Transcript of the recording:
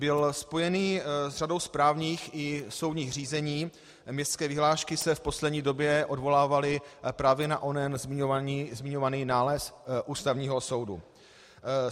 Byl spojen s řadou správních i soudních řízení, městské vyhlášky se v poslední době odvolávaly právě na onen zmiňovaný nález Ústavního soudu.